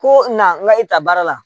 Ko na n ga i ta baara la